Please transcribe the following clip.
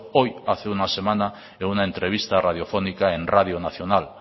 hoy hace una semana en una entrevista radiofónica en radio nacional